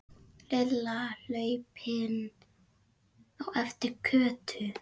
Lilla hlaupin á eftir Kötu.